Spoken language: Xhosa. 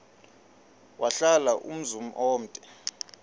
wahlala umzum omde